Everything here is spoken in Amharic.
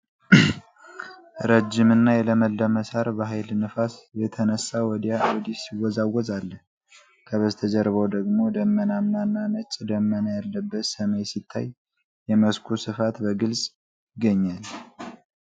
ረዥም እና የለመለመ ሳር በኃይል ነፋስ የተነሳ ወዲያ ወዲህ ሲወዛወዝ አለ። ከበስተጀርባው ደግሞ ደመናማ እና ነጭ ደመና ያለበት ሰማይ ሲታይ፣ የመስኩ ስፋት በግልጽ ይገኛል።